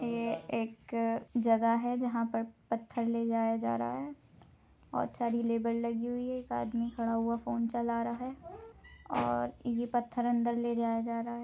ये एक जगह है जहां पर पत्थर ले जा रहा है और सारी लेबर लगी हुई है एक खड़ा हुआ फोन चला जा रहा है और ये पत्थर अंदर ले जा रहा है।